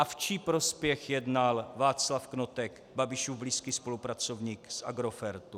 A v čí prospěch jednal Václav Knotek, Babišův blízký spolupracovník z Agrofertu?